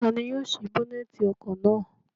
Ta ni yóò sí bónẹ́tì ọkọ̀ náà?